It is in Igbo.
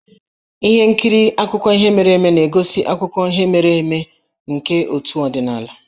Ihe nkiri akụkọ ihe mere eme na-egosi akụkọ ihe mere eme nke otu ọdịnala.